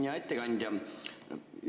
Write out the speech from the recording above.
Hea ettekandja!